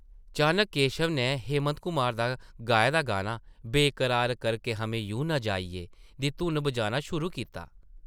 चानक केशव नै हेमंत कुमार दा गाए दा गाना ‘बेकरार करके हमें यूं न जाइयै...’ दी धुन बजाना शुरू कीता ।